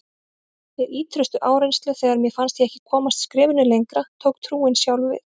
Við ýtrustu áreynslu, þegar mér fannst ég ekki komast skrefinu lengra, tók trúin sjálf við.